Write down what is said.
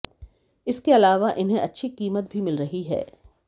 इसके अलावा इन्हें अच्छी कीमत भी मिल रही है